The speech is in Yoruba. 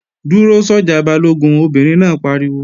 Dúró sọ́jà Balógun, Obìnrin náà pariwo!